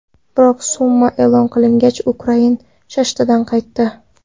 Biroq summa e’lon qilingach, Ukrain shashtidan qaytdi.